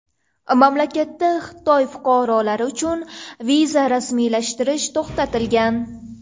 Mamlakatda Xitoy fuqarolari uchun viza rasmiylashtirish to‘xtatilgan.